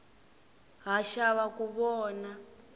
ha xava ku vona